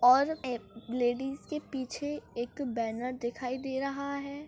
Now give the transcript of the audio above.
और ए प लेडिज के पिछे एक बैनर दिखाई दे रहा है।